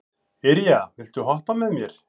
Irja, viltu hoppa með mér?